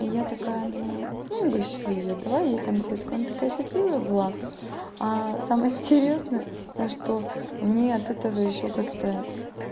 я такая думаю ну угощу её дала ей конфетку она такая счастливая была а самое интересное то что мне от этого ещё как-то